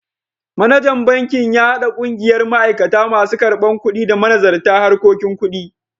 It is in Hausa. Manajan bankin ya haɗa ƙungiyar ma'aikata, masu karbar kuɗi, da manazarta harkokin kuɗi.